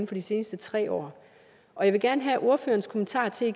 fra de seneste tre år og jeg vil gerne igen have ordførerens kommentarer til at